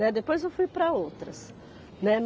Né. Depois eu fui para outras, né.